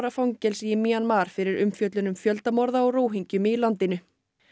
fangelsi í Mjanmar fyrir umfjöllun um fjöldamorð á Róhingjum í landinu